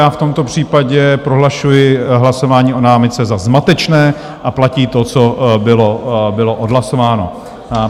Já v tomto případě prohlašuji hlasování o námitce za zmatečné a platí to, co bylo odhlasováno.